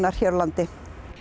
af hér á landi